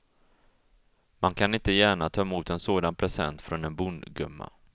Man kan inte gärna ta emot en sådan present från en bondgumma.